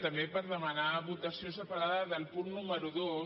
també per demanar votació separada del punt número dos